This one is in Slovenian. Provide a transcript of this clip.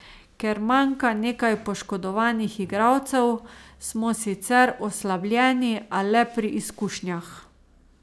Ker manjka nekaj poškodovanih igralcev, smo sicer oslabljeni, a le pri izkušnjah.